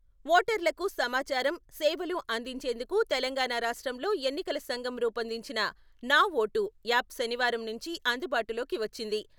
ఓటర్లకు సమాచారం, సేవలు అందించేందుకు తెలంగాణ రాష్ట్రంలో ఎన్నికల సంఘం రూపొందించిన ' నా ఓటు ' యాప్ శనివారం నుంచి అందుబాటులోకి వచ్చింది.